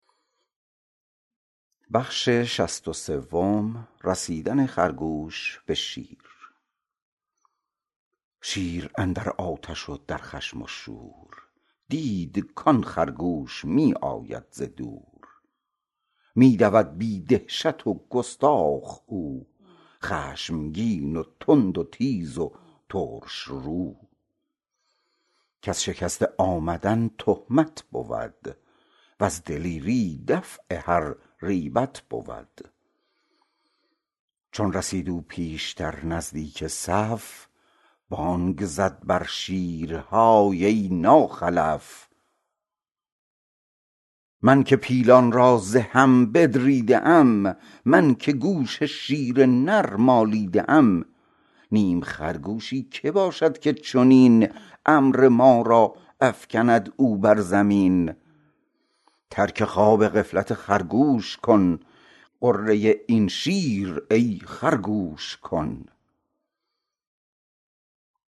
شیر اندر آتش و در خشم و شور دید کان خرگوش می آید ز دور می دود بی دهشت و گستاخ او خشمگین و تند و تیز و ترش رو کز شکسته آمدن تهمت بود وز دلیری دفع هر ریبت بود چون رسید او پیشتر نزدیک صف بانگ بر زد شیر های ای ناخلف من که پیلان را ز هم بدریده ام من که گوش شیر نر مالیده ام نیم خرگوشی که باشد که چنین امر ما را افکند او بر زمین ترک خواب غفلت خرگوش کن غره این شیر ای خر گوش کن